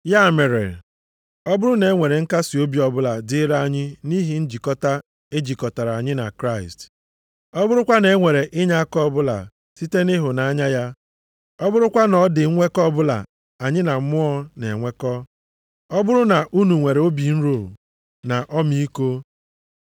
Ya mere, ọ bụrụ na e nwere nkasiobi ọbụla dịrị anyị nʼihi njikọta e jikọtara anyị na Kraịst, ọ bụrụkwa na e nwere inyeaka ọbụla site nʼịhụnanya ya, ọ bụrụkwa na ọ dị nnwekọ ọbụla anyị na Mmụọ na-enwekọ, ọ bụrụ na unu nwere obi nro na ọmịiko,